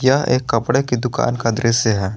यह एक कपड़े की दुकान का दृश्य है।